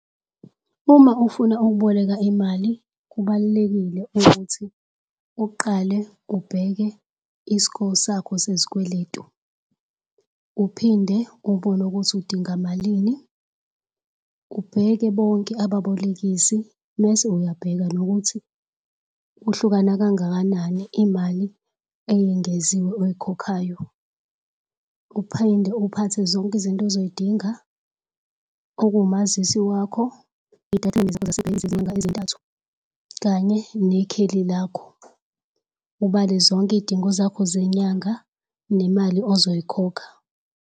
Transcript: Uma ufuna ukuboleka imali, kubal'lekile ukuthi uqale ubheke is'ko sakho sezikweletu uphinde ubone ukuthi udinga malini. Ubheke bonke ababolekisi mese uyabheka nokuthi kuhlukana kangakanani imali eyengeziwe oyikhokhayo. Uphinde uphathe zonke izinto ozoy'dinga okumazisi wakho iy'tatimende zakho zasebhenki zezinyanga ezintathu kanye nekheli lakho. Ubale zonke iy'dingo zakho zenyanga nemali ozoyikhokha.